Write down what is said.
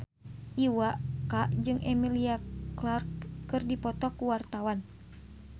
Iwa K jeung Emilia Clarke keur dipoto ku wartawan